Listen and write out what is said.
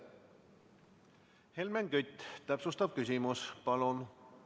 Helmen Kütt, täpsustav küsimus, palun!